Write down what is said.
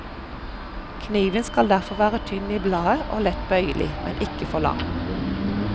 Kniven skal derfor være tynn i bladet og lett bøyelig, men ikke for lang.